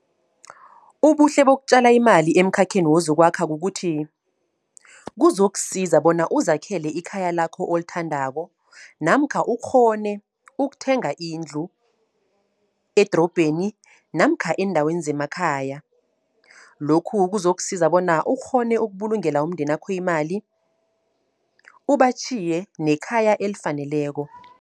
Ubuhle bokutjala imali emkhakheni wezokwakha kukuthi, kuzokusiza bona uzakhele ikhaya lakho olithandako. Namkha ukghone ukuthenga indlu edrobheni, namkha eendaweni zemakhaya. Lokhu kuzokusiza bona ukghone ukubulungela umndenakho imali, ubatjhiye nekhaya elifaneleko.